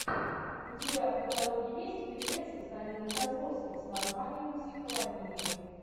у тебя в каталоге есть фильмец с данилой козловским с названием психологини